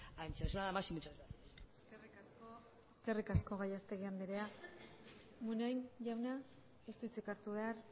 anchos nada más y muchas gracias eskerrik asko gallastegui andrea munain jauna ez du hitzik hartu behar